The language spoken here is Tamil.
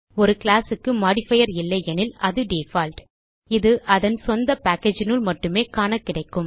ஒரு கிளாஸ் க்கு மோடிஃபயர் இல்லையெனில் அது டிஃபால்ட் இது அதன் சொந்த packageனுள் மட்டும் காண கிடைக்கும்